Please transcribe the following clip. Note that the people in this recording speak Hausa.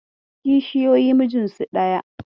Kishiyoyi mijinsu daya.